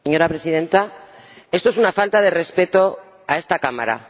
Señora Presidenta, esto es una falta de respeto a esta Cámara.